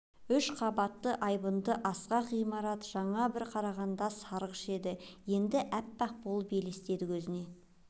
үш қабатты айбынды асқақ ғимарат жаңа бір қарағанда сарғыш еді енді әппақ болып елестеді көзіне